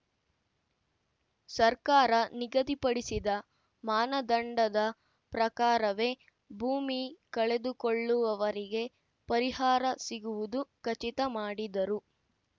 ಸರ್ಕಾರ ನಿಗದಿಪಡಿಸಿದ ಮಾನದಂಡದ ಪ್ರಕಾರವೇ ಭೂಮಿ ಕಳೆದುಕೊಳ್ಳುವವರಿಗೆ ಪರಿಹಾರ ಸಿಗುವುದು ಖಚಿತ ಮಾಡಿದರು